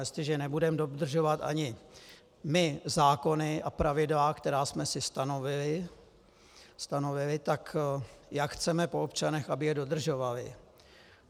Jestliže nebudeme dodržovat ani my zákony a pravidla, které jsme si stanovili, tak jak chceme po občanech, aby je dodržovali?